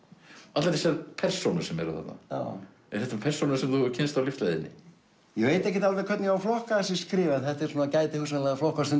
allar þessar persónur sem eru þarna eru þetta persónur sem þú hefur kynnst á lífsleiðinni ég veit ekki alveg hvernig ég á að flokka þessi skrif en þetta gæti hugsanlega flokkast sem